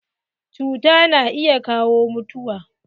Cuta na iya kawo mutuwa.